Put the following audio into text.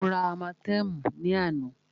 Mó rá ámátẹ̀ẹ̀mú ní àná.